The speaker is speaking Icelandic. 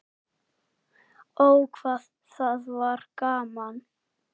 Ó, hvað það var gaman.